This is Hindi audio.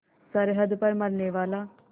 सरहद पर मरनेवाला